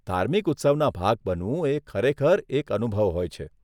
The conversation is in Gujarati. ધાર્મિક ઉત્સવના ભાગ બનવું એ ખરેખર એક અનુભવ હોય છે.